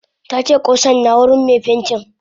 Tace kusan na wurin me pentin.